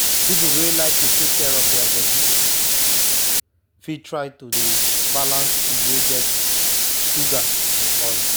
people wey like to take care of their body fit try to dey balance food wey get sugar and oil.